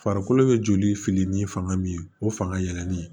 Farikolo bɛ joli fili ni fanga min ye o fanga yɛlɛli